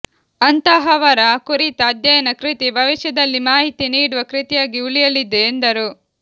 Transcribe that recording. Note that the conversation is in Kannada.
ಅಂತಹವರ ಕುರಿತ ಅಧ್ಯಯನ ಕೃತಿ ಭವಿಷ್ಯದಲ್ಲಿ ಮಾಹಿತಿ ನೀಡುವ ಕೃತಿಯಾಗಿ ಉಳಿಯಲಿದೆ ಎಂದರು